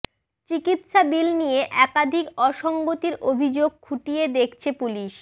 চিকিত্সা বিল নিয়ে একাধিক অসঙ্গতির অভিযোগ খুঁটিয়ে দেখছে পুলিশ